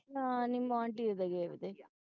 ਹਾਂ ਨਿੰਮੋ ਹਾਂ ਦੇ ਮੈਂ ਗਾਏ ਦੇ